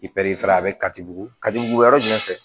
I a bɛ kati bugu kajugu yɔrɔ jumɛn fɛ